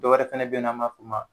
Dɔwɛrɛ fana bɛ yen nɔ ani m'a f'u ma.